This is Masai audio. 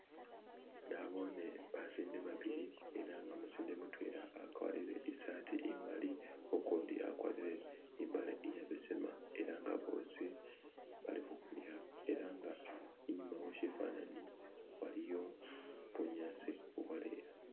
nabone basinde babili ela umusinde mutwela akwalile isati imali ukundi akwarire imbale iyabesema ela nga boosi bali hukaniha inyuma weshifanani waliyo bunyasi ubwaleya